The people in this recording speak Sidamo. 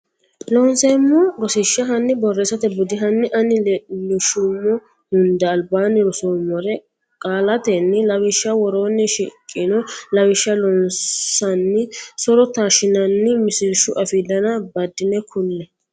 Loonseemmo Rosiishsha hanni borreessate budi hanni ani leellishummo hunda albaanni ronsummore qaallatenni lawishshi woroonni shiqino lawishsha loonsanni so ro taashshinanni misilshu afii dana baddine kulle.